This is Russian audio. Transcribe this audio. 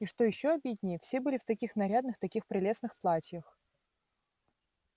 и что ещё обиднее все были в таких нарядных таких прелестных платьях